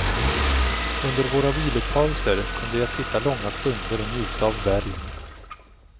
Under våra vilopauser kunde jag sitta långa stunder och njuta av bergen.